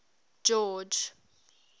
george